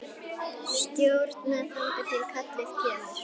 Stjórna þangað til kallið kemur.